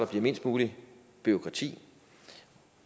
bliver mindst muligt bureaukrati